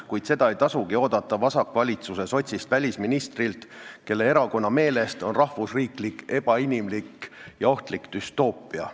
Kuid seda ei tasugi oodata vasakvalitsuse sotsist välisministrilt, kelle erakonna meelest on rahvusriiklus ebainimlik ja ohtlik düstoopia.